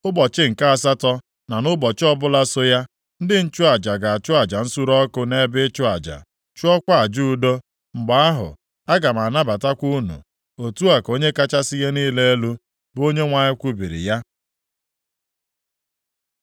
Ụbọchị nke asatọ, na nʼụbọchị ọbụla so ya, ndị nchụaja ga-achụ aja nsure ọkụ nʼebe ịchụ aja, chụọkwa aja udo. Mgbe ahụ, aga m anabatakwa unu. Otu a ka Onye kachasị ihe niile elu, bụ Onyenwe anyị kwubiri ya.”